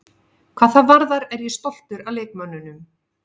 Hvað það varðar er ég stoltur af leikmönnunum.